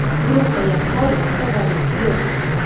Guruhda yaqqol favorit yo‘q.